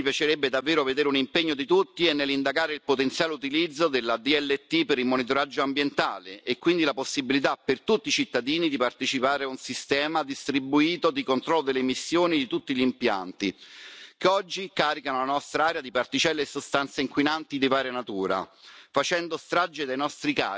Ma un altro terreno su cui mi piacerebbe davvero vedere un impegno di tutti è nell'indagare il potenziale utilizzo della DLT per il monitoraggio ambientale e quindi la possibilità per tutti i cittadini di partecipare a un sistema distribuito di controllo delle emissioni di tutti gli impianti che oggi caricano la nostra aria di particelle e sostanze inquinanti di varia natura,